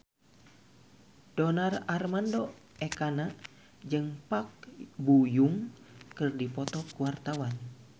Donar Armando Ekana jeung Park Bo Yung keur dipoto ku wartawan